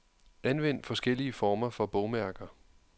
Anvend forskellige former for bogmærker.